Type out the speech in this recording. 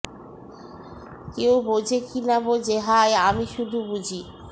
কেউ বোঝে কি না বোঝে হায় আমি শুধু বুঝি